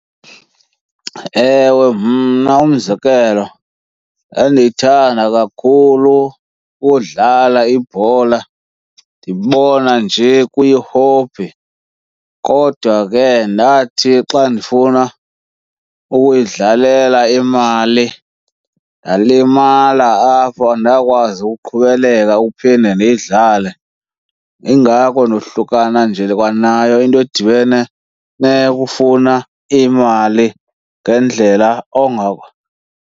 Ewe. Mna umzekelo, ndandiyithanda kakhulu udlala ibhola, ndibona nje kuyi-hobby. Kodwa ke ndathi xa ndifuna ukuyidlalela imali, ndalimala apho andakwazi uqhubeleka uphinde ndiyidlale. Ingako ndohlukana nje kwanayo into edibene neyo kufuna imali ngendlela .